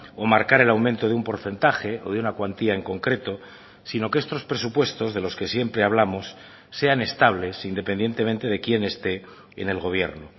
o marcar el aumento de un porcentaje o de una cuantía en concreto sino que estos presupuestos de los que siempre hablamos sean estables independientemente de quién esté en el gobierno